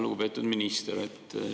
Lugupeetud minister!